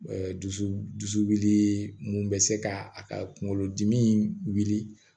Ɛ dusu dusu wuli mun bɛ se ka a ka kunkolo dimi wuli